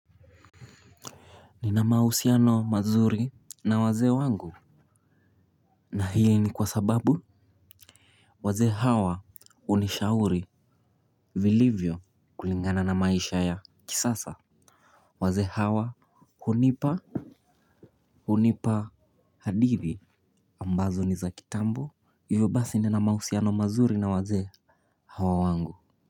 Nina mahusiano mazuri na wazee wangu. Na hili ni kwa sababu wazee hawa hunishauri vilivyo kulingana na maisha ya kisasa. Wazee hawa hunipa hadithi ambazo ni za kitambo. Hivyo basi nina mahusiano mazuri na wazee hawa wangu.